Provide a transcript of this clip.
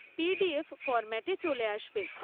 PDF ফরম্যাটে চলে আসবে।